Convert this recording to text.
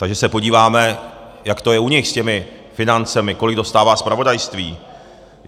Takže se podíváme, jak to je u nich s těmi financemi, kolik dostává zpravodajství.